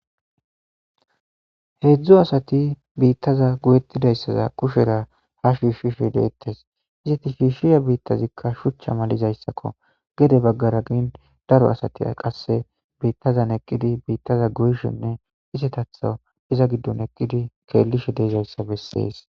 Heedzdzu asati biittaza guyettidayssaza kushera ha shiishishe deettes izati shiishshiya biittazikka shuchcha malizayssakko gede baggara gin daro asati qasse biittazan eqqidi biittaza guyshenne isetatho iza giddon eqqidi keellishe deezayssa bessees